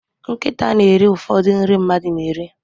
Nkịta na eri ụfọdụ nri mmadụ na eri